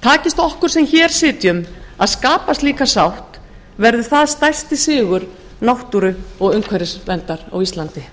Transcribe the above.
takist okkur sem hér sitjum að skapa slíka sátt verður það stærsti sigur náttúru og umhverfisverndar á íslandi